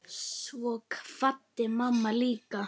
Svo kvaddi mamma líka.